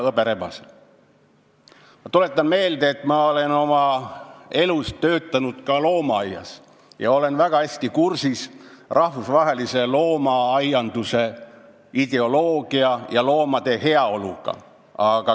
Ma tuletan meelde, et ma olen oma elus töötanud ka loomaaias ja olen väga hästi kursis rahvusvahelise loomaaianduse ideoloogia ja loomade heaoluga.